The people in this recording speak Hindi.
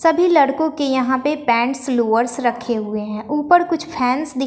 सभी लड़कों के यहां पे पैंट्स लोअर्स रखे हुए हैं ऊपर कुछ फैंस दिख--